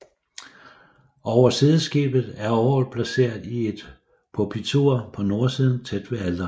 Over sideskibet er orglet placeret i et pulpitur på nordsiden tæt ved alteret